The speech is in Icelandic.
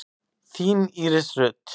Þín Íris Rut.